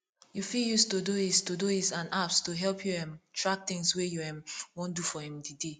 you fit use todoist todoist and apps to help you um track things wey you um wan do for um di day